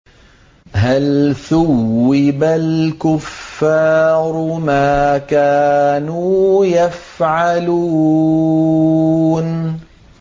هَلْ ثُوِّبَ الْكُفَّارُ مَا كَانُوا يَفْعَلُونَ